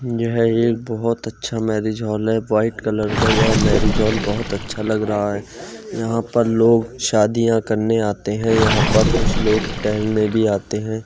यह एक बहुत अच्छा मैरिज-हॉल है। वाइट कलर का यह मैरिज-हॉल बहुत अच्छा लग रहा है यहा पर लोग शादियां करने आते है। यहाँ पर कुछ लोग टहलने भी आते है।